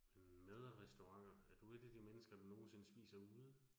Øh mad og restauranter, er du 1 af de mennesker, der nogensinde spiser ude?